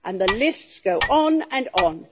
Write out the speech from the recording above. And the lists go on and on.